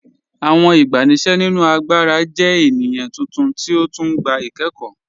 Awọn igbàníṣẹ̀ nínu àgbàrà jẹ̀ ènìyàn tuntun ti ó tún gbà ikẹ̀kọ́.